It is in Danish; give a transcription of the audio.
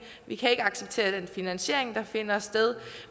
vi kan ikke acceptere den finansiering der finder sted